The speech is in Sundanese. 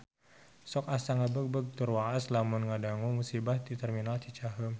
Sok asa ngagebeg tur waas lamun ngadangu musibah di Terminal Cicaheum